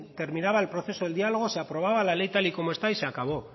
terminaba el proceso de diálogo se aprobaba la ley tal y como está y se acabó